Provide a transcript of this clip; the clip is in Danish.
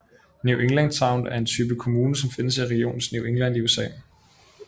New England town er en type kommune som findes i regionen New England i USA